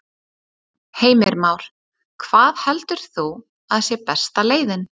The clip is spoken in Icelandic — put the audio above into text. Heimir Már: Hvað heldur þú að sé besta leiðin?